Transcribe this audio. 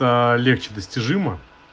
легче достижимо